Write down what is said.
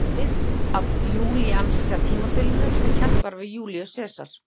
Það tók við af júlíanska tímatalinu sem kennt var við Júlíus Sesar.